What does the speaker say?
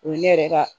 O ye ne yɛrɛ ka